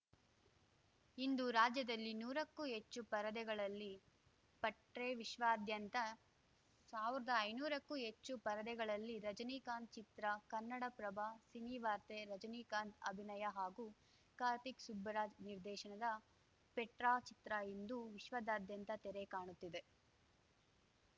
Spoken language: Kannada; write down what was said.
ಇಂದು ರಾಜ್ಯದಲ್ಲಿ ನೂರಕ್ಕೂ ಹೆಚ್ಚು ಪರದೆಗಳಲ್ಲಿ ಪಟ್ರೇ ವಿಶ್ವಾದ್ಯಂತ ಸಾವ್ರ್ದಾ ಐನೂರಕ್ಕೂ ಹೆಚ್ಚು ಪರದೆಗಳಲ್ಲಿ ರಜನಿಕಾಂತ್‌ ಚಿತ್ರ ಕನ್ನಡಪ್ರಭ ಸಿನಿವಾರ್ತೆ ರಜನಿಕಾಂತ್‌ ಅಭಿನಯ ಹಾಗೂ ಕಾರ್ತಿಕ್‌ ಸುಬ್ಬರಾಜ್‌ ನಿರ್ದೇಶನದ ಪೆಟ್ರಾ ಚಿತ್ರ ಇಂದು ವಿಶ್ವದಾದ್ಯಂತ ತೆರೆ ಕಾಣುತ್ತಿದೆ